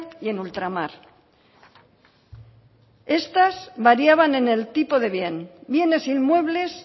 y en ultramar estas variaban en el tipo de bien bienes inmuebles